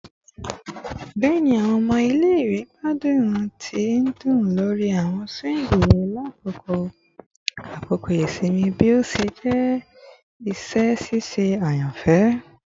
Bẹẹni, awọn ọmọ ile-iwe gbadun ti ndun lori awọn swings lakoko akoko isinmi bi o ṣe jẹ iṣẹ ṣiṣe ayanfẹ